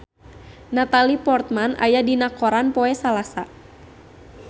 Natalie Portman aya dina koran poe Salasa